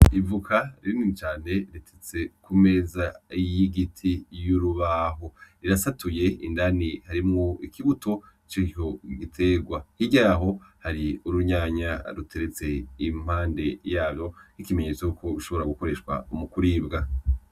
Ivoka rinini cane riteretse ku meza y’igiti y’urubaho, rirasatuye indani harimwo ikibuto cico giterwa; hirya yaho hari urunyanya ruteretse impande yarwo, ikimenyetso yuko ushobora gukoreshwa mu kuribwa